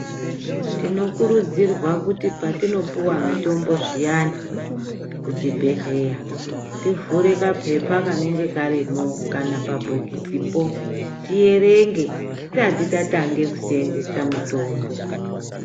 Tinokurudzirwa kuti patinopuwa mitombo zviyani kuchibhehleya tivhure kapepa kanenge karimo kana pabhokisipo tierenge tisati tatange kuseenzesa mitombo.